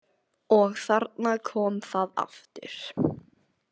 Og þarna kom það aftur!